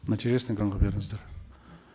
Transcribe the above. нәтижесін экранға беріңіздер